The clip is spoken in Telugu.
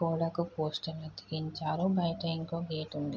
గోడకి పోస్టరు అతికించారు. బయట ఇంకో గేటు ఉంది.